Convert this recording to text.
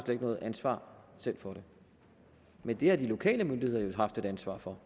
ikke noget ansvar selv for det men det har de lokale myndigheder jo haft et ansvar for